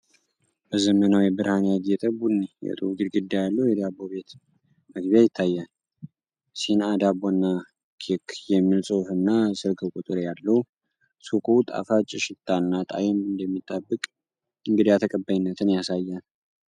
በዘመናዊ ብርሃን ያጌጠ ቡኒ የጡብ ግድግዳ ያለው የዳቦ ቤት መግቢያ ይታያል። "ሲንአ ዳቦና ከክ" የሚል ጽሑፍና ስልክ ቁጥር ያለው ሱቁ ጣፋጭ ሽታና ጣዕም እንደሚጠብቅ እንግዳ ተቀባይነትን ያሳያል።